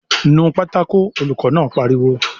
"Nu pátákó!" Olùkọ́ náà pariwo